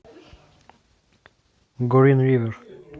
грин ривер